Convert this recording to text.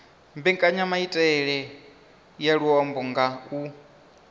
mbekanyamaitele ya luambo nga u